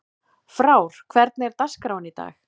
Frár, hvernig er dagskráin í dag?